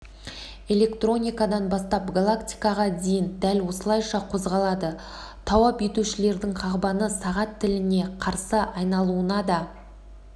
электроникадан бастап галактикаға дейін дәл осылайша қозғалады тауап етушілердің қағбаны сағат тіліне қарсы айналуында да